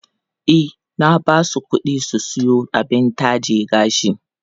E, na ba su kuɗi su siyo abin taje gashi.